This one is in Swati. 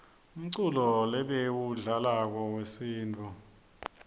umculo lebawudlalako wesintfu